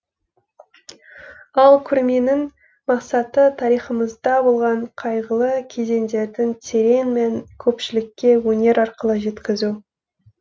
ал көрменің мақсаты тарихымызда болған қайғылы кезеңдердің терең мәнін көпшіліке өнер арқылы жеткізу